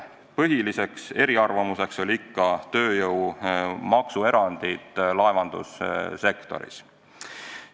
Põhiliselt oldi eri arvamusel tööjõu maksuerandite küsimuses.